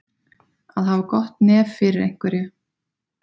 Að hafa gott nef fyrir einhverju